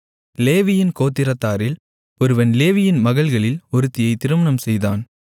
லேவியின் கோத்திரத்தாரில் ஒருவன் லேவியின் மகள்களில் ஒருத்தியைத் திருமணம்செய்தான்